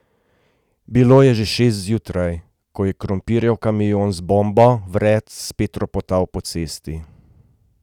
Bilo je že šest zjutraj, ko je krompirjev kamion z bombo vred spet ropotal po cesti.